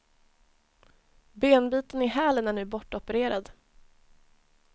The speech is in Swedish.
Benbiten i hälen är nu bortopererad.